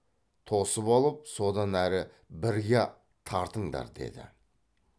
тосып алып содан әрі бірге тартыңдар деді